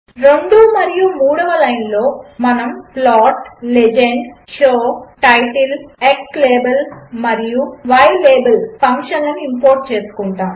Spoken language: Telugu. రెండు మరియు మూడవ లైన్లో మనము plot legend show title xlabel మరియు ylabel ఫంక్షన్లను ఇంపోర్ట్ చేసుకుంటాము